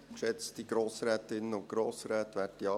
Schön, sind Sie alle da.